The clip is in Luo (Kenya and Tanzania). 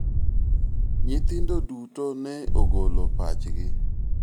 nyithindo duto ne ogolo pachgi